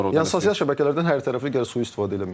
Yəni sosial şəbəkələrdən hər tərəfli gərək sui-istifadə eləməyəsən.